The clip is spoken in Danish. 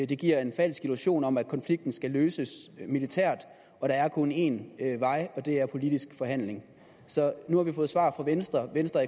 det giver en falsk illusion om at konflikten skal løses militært og der er kun én vej og det er politisk forhandling så nu har vi fået svar fra venstre venstre